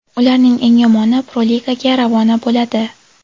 Ularning eng yomoni Pro-Ligaga ravona bo‘ladi.